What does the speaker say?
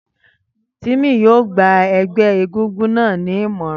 Tímì yóò gba ẹgbẹ́ égúngún náà ni ìmọ̀ràn.